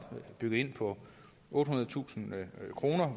på ottehundredetusind kroner